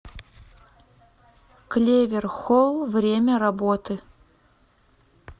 клевер холл время работы